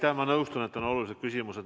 Jah, ma nõustun, et on olulised küsimused.